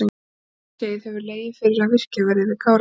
Um nokkurt skeið hefur legið fyrir að virkjað verði við Kárahnjúka.